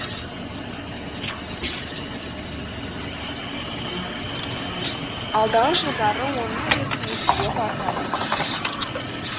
алдағы жылдары оның үлесі еселеп артады